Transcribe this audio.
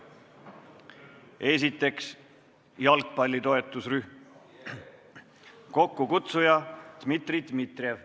Esiteks, jalgpalli toetusrühm, kokkukutsuja on Dmitri Dmitrijev.